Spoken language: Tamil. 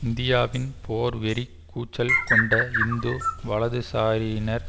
இந்தியாவின் போர் வெறி கூச்சல் கொண்ட இந்து வலதுசாரியினர்